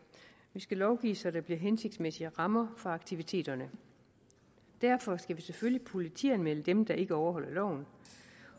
vi skal lovgive så der bliver hensigtsmæssige rammer for aktiviteterne derfor skal vi selvfølgelig politianmelde dem der ikke overholder loven